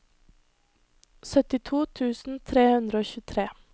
syttito tusen tre hundre og tjuetre